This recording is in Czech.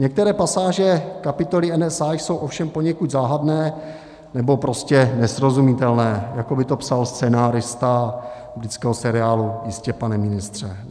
Některé pasáže kapitoly NSA jsou ovšem poněkud záhadné nebo prostě nesrozumitelné, jako by to psal scenárista britského seriálu Jistě, pane ministře.